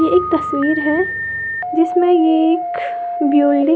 एक तस्वीर है जिसमें ये एक बिल्डिंग --